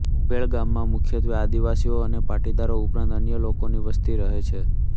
ઉંભેળ ગામમાં મુખ્યત્વે આદિવાસીઓ અને પાટીદારો ઉપરાંત અન્ય લોકોની વસ્તી રહે છે